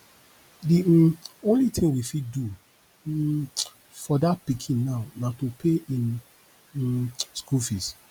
the um only thing we fit do um for dat pikin now na to pay im um school fees